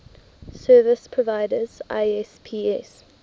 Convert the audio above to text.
service providers isps